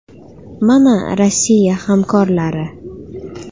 Mana Rossiya hamkorlari.